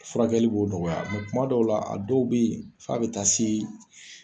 Furakɛli b'o nɔgɔya , nka kuma dɔw la, a dɔw bɛ yen f'a bɛ taa se